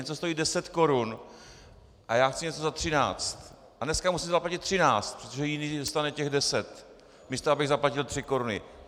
Něco stojí deset korun a já chci něco za třináct, a dneska musím zaplatit třináct, protože jiný dostane těch deset, místo abych zaplatil tři koruny.